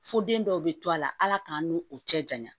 Fo den dɔw bɛ to a la ala k'an n'u u cɛ janya